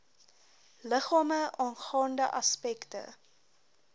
liggame aangaande aspekte